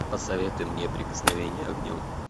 посоветуй мне прикосновение огнем